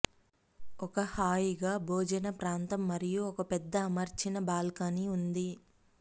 ఒక హాయిగా భోజన ప్రాంతం మరియు ఒక పెద్ద అమర్చిన బాల్కనీ ఉంది